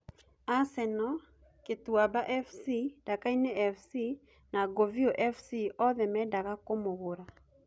Asenoo, Kituamba Fc, Ndakaine Fc na Nguviu Fc oothe mendaga kũmũgura